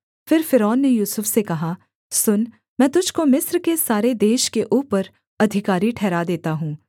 फिर फ़िरौन ने यूसुफ से कहा सुन मैं तुझको मिस्र के सारे देश के ऊपर अधिकारी ठहरा देता हूँ